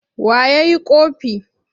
Wa ya yi ƙofi?